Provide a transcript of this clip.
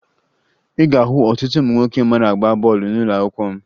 Ị ga-ahụ ọtụtụ ụmụ nwoke mara agba bọọlụ n'ụlọakwụkwọ m